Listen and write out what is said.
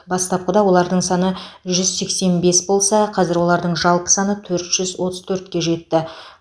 бастапқыда олардың саны жүз сексен бес болса қазір олардың жалпы саны төрт жүз отыз төртке жетті